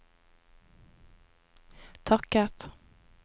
takket